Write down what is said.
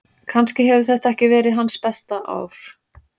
Kannski hefur þetta ekki verið hans besta ár.